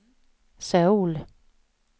Söul